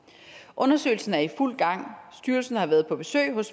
undersøgelsen er i fuld gang styrelsen har været på besøg hos